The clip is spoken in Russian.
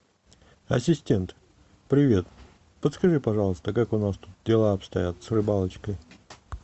ассистент привет подскажи пожалуйста как у нас тут дела обстоят с рыбалочкой